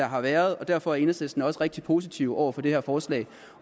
har været derfor er enhedslisten også rigtig positive over for det her forslag